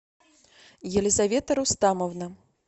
елизавета рустамовна